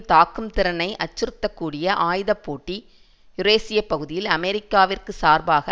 தாக்கும் திறனை அச்சுறுத்தக்கூடிய ஆயுத போட்டி யூரேசியப் பகுதியில் அமெரிக்காவிற்கு சார்பாக